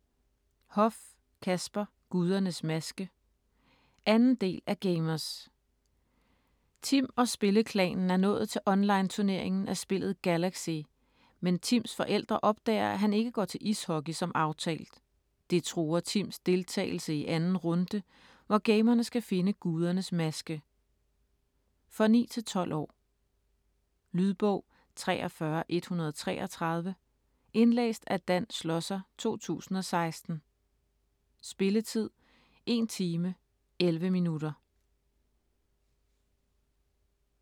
Hoff, Kasper: Gudernes maske 2. del af Gamerz. Tim og spilleklanen er nået til online turneringen af spillet Galaxy, men Tims forældre opdager at han ikke går til ishockey som aftalt. Det truer Tims deltagelse i 2. runde, hvor gamerne skal finde Gudernes maske. For 9-12 år. Lydbog 43133 Indlæst af Dan Schlosser, 2016. Spilletid: 1 time, 11 minutter.